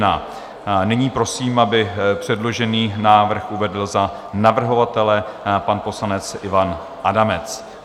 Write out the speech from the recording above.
Nyní prosím, aby předložený návrh uvedl za navrhovatele pan poslanec Ivan Adamec.